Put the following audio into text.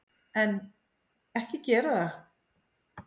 En, ekki gera það!